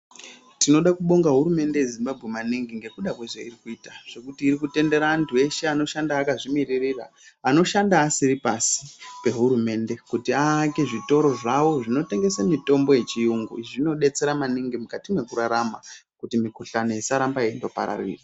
Tinoda kubonga hurumende yenyika yezimbabwe ngekuda kwezvairi kuita zvekuti iri kutendera antu eshe anoshanda akazvimiririra anoshanda asiri pasi pehurumende kuti aake zvitoro zvawo zvinotengesa mitombo yechiyungu zvinodetsera maningi mukurarama kuti mikuhlani isarambe ichipararira.